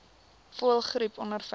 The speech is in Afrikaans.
voëlgriep ondervind